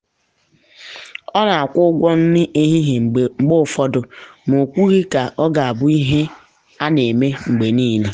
ọ na-akwụ ụgwọ nri ehihie mgbe ụfọdụ ma o kwụghị ka ọ ga abụ ihe a na eme mgbe niile.